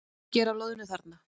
Er mikið af loðnu þarna?